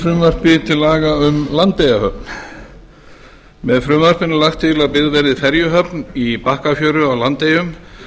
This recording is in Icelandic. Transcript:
frumvarpi til laga um landeyjahöfn með frumvarpinu er lagt til að byggð verði ferjuhöfn í bakkafjöru á landeyjum